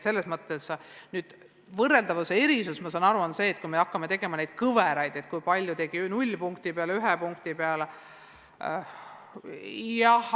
Võrreldavuses võiks küsimusi tekkida siis, kui me hakkaksime tegema kõveraid selle kohta, kui paljud tegid eksami 0 punkti peale, 1 punkti peale jne.